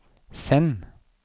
send